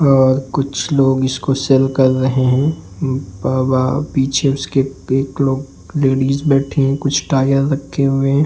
और कुछ लोग इसको सेल कर रहे हैं और वहाँ पीछे इसके एक लोग लेडिज बैठी हैं कुछ टायर रखे हुए हैं।